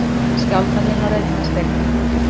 Skjálftahrina á Reykjaneshrygg